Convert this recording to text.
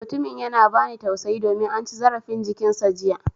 Mutumin yana bani tausayi domin an ci zarafin jikin sa jiya